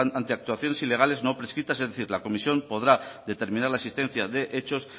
ante las actuaciones ilegales no prescritas es decir la comisión podrá determinar la existencia de hechos